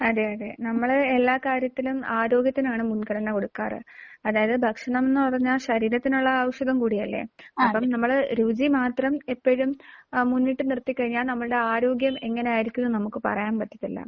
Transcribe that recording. അതെ. അതെ. നമ്മൾ എല്ലാ കാര്യത്തിലും ആരോഗ്യത്തിനാണ് മുൻഗണന കൊടുക്കാറ്. അതായത് ഭക്ഷണം എന്ന് പറഞ്ഞാൽ ശരീരത്തിനുള്ള ഔഷധം കൂടിയല്ലേ. അപ്പോൾ നമ്മൾ രുചി മാത്രം എപ്പോഴും അ മുന്നിട്ട് നിർത്തിക്കഴിഞ്ഞാൽ നമ്മളുടെ ആരോഗ്യം എങ്ങനെയായിരിക്കും എന്നത് നമുക്ക് പറയാൻ പറ്റില്ല.